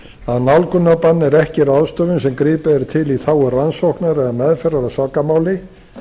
að nálgunarbann er ekki ráðstöfun sem gripið er til í þágu rannsóknar eða meðferðar á sakamáli